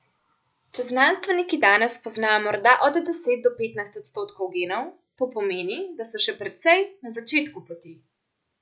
Če znanstveniki danes poznajo morda od deset do petnajst odstotkov genov, to pomeni, da so še precej na začetku poti.